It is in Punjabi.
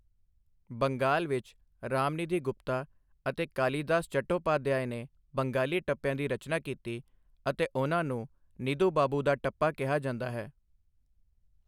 ਬੰਗਾਲ ਵਿੱਚ, ਰਾਮਨਿਧੀ ਗੁਪਤਾ ਅਤੇ ਕਾਲੀਦਾਸ ਚੱਟੋਪਾਧਿਆਏ ਨੇ ਬੰਗਾਲੀ ਟੱਪਿਆ ਦੀ ਰਚਨਾ ਕੀਤੀ ਅਤੇ ਉਹਨਾਂ ਨੂੰ ਨਿੱਧੂ ਬਾਬੂ ਦਾ ਟੱਪਾ ਕਿਹਾ ਜਾਂਦਾ ਹੈ।